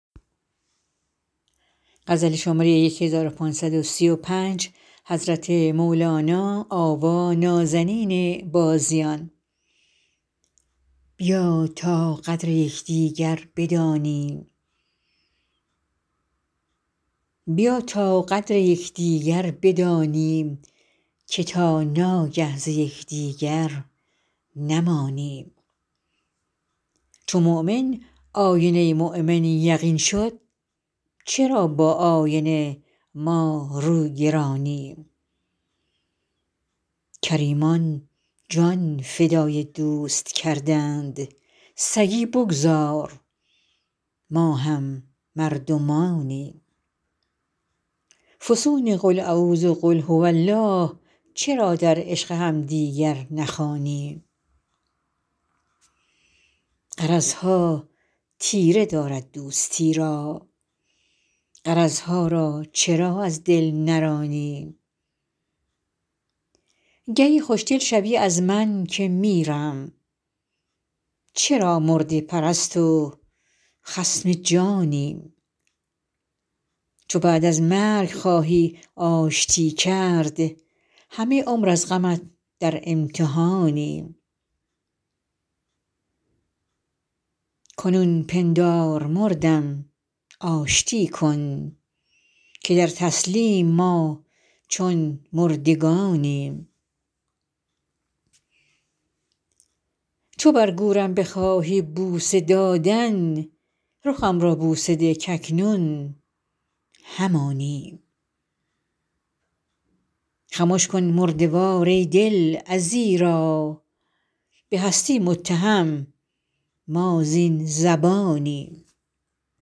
بیا تا قدر یکدیگر بدانیم که تا ناگه ز یکدیگر نمانیم چو مؤمن آینه ی مؤمن یقین شد چرا با آینه ما روگرانیم کریمان جان فدای دوست کردند سگی بگذار ما هم مردمانیم فسون قل اعوذ و قل هو الله چرا در عشق همدیگر نخوانیم غرض ها تیره دارد دوستی را غرض ها را چرا از دل نرانیم گهی خوشدل شوی از من که میرم چرا مرده پرست و خصم جانیم چو بعد مرگ خواهی آشتی کرد همه عمر از غمت در امتحانیم کنون پندار مردم آشتی کن که در تسلیم ما چون مردگانیم چو بر گورم بخواهی بوسه دادن رخم را بوسه ده کاکنون همانیم خمش کن مرده وار ای دل ازیرا به هستی متهم ما زین زبانیم